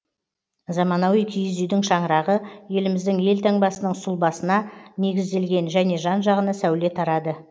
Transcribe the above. заманауи киіз үйдің шаңырағы еліміздің елтаңбасының сұлбасына негізделген және жан жағына сәуле тарады